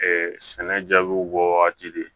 sɛnɛ jaabiw bɔ waati de